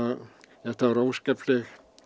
þetta var óskapleg